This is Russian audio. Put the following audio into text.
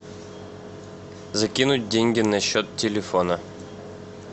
закинуть деньги на счет телефона